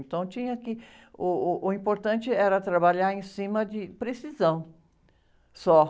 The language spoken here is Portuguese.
Então, tinha que, uh, uh, o importante era trabalhar em cima de precisão, só.